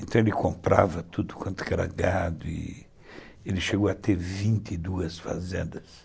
Então ele comprava tudo quanto era gado e ele chegou a ter vinte e duas fazendas.